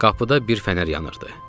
Qapıda bir fənər yanırdı.